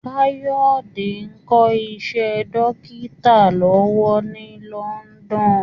Káyọ̀dé ń kọ́ iṣẹ́ dókítà lọ́wọ́ ní London